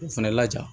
K'u fɛnɛ laja